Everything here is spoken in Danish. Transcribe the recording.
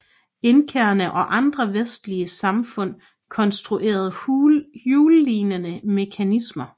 Inkaerne og andre vestlige samfund konstruerede hjullignende mekanismer